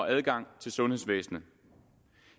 adgang til sundhedsvæsenet